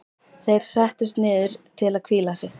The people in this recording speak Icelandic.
Þeir settust niður til að hvíla sig.